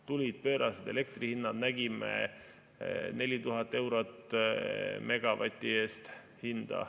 Tulid pöörased elektri hinnad, nägime hinda 4000 eurot megavati eest.